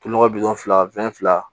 Tu nɔgɔ bi fila fila